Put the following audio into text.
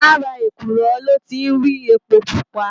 Làrá ékúrò lò ti n ri épó púpá